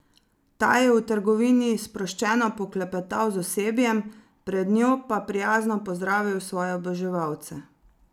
Ta je v trgovini sproščeno poklepetal z osebjem, pred njo pa prijazno pozdravil svoje oboževalce.